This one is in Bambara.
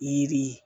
Yiri ye